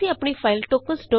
ਅਸੀਂ ਆਪਣੀ file tokens